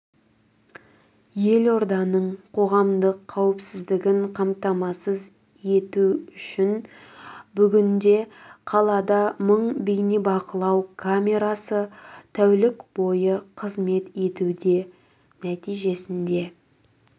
елорданың қоғамдық қауіпсіздігін қамтамасыз ету үшін бүгінде қалада мың бейнебақылау камерасы тәулік бойы қызмет етуде нәтижесінде